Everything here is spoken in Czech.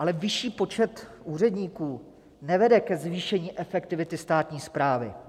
Ale vyšší počet úředníků nevede ke zvýšení efektivity státní správy.